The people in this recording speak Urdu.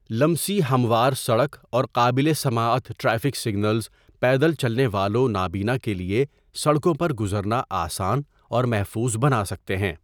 لمسی ہموار سڑک اور قابل سماعت ٹریفک سگنلز پیدل چلنے والوں نابینا کے لیے سڑکوں پر گزرنا آسان اور محفوظ بنا سکتے ہیں۔